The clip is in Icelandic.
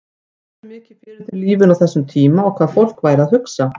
Veltirðu mikið fyrir þér lífinu á þessum tíma og hvað fólk væri að hugsa?